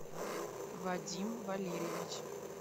вадим валерьевич